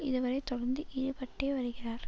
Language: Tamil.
இதுவரை தொடர்ந்து ஈடுபட்டே வருகிறார்